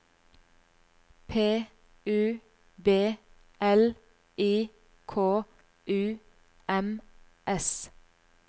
P U B L I K U M S